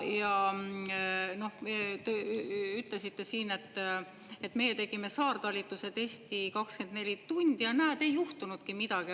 Ja te ütlesite siin, et meie tegime saartalitluse testi 24 tundi ja näed, ei juhtunudki midagi.